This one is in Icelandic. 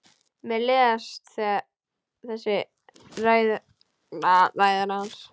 Mér leiðast þessar ræður hans.